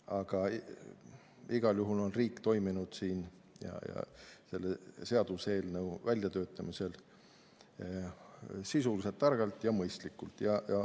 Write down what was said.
Aga igal juhul on riik toiminud selle seaduseelnõu väljatöötamisel sisuliselt, targalt ja mõistlikult.